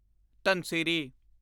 Dhanasri